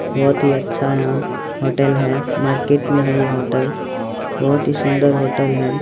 बहुत ही अच्छा यहां होटल है मार्केट में है ये होटल बहुत ही सुंदर होटल है।